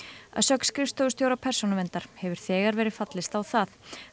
að sögn skrifstofustjóra Persónuverndar hefur þegar verið fallist á það